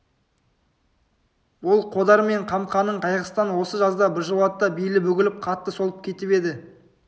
ол қодар мен қамқаның қайғысынан осы жазда біржолата белі бүгіліп қатты солып кетіп еді